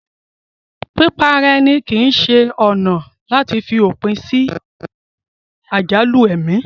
Pípa ara èni kìí se ọ̀nà àti fi òpin sí àjálù ẹni